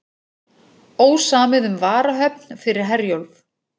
Ósamið um varahöfn fyrir Herjólf